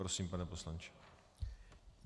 Prosím, pane poslanče.